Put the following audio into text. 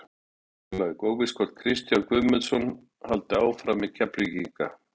Keflavík: Óvíst er hvort Kristján Guðmundsson haldi áfram með Keflvíkinga.